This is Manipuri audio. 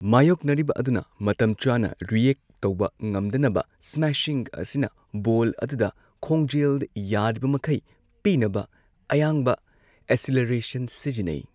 ꯃꯥꯌꯣꯛꯅꯔꯤꯕ ꯑꯗꯨꯅ ꯃꯇꯝ ꯆꯥꯅ ꯔꯤꯑꯦꯛꯠ ꯇꯧꯕ ꯉꯝꯗꯅꯕ ꯁ꯭ꯃꯥꯁꯤꯡ ꯑꯁꯤꯅ ꯕꯣꯜ ꯑꯗꯨꯗ ꯈꯣꯡꯖꯦꯜ ꯌꯥꯔꯤꯕꯃꯈꯩ ꯄꯤꯅꯕ ꯑꯌꯥꯡꯕ ꯑꯦꯛꯁꯦꯂꯔꯦꯁꯟ ꯁꯤꯖꯤꯟꯅꯩ꯫